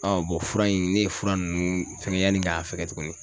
fura in ne ye fura nunnu fɛŋɛ yani ŋ'a fɛgɛ tuguni.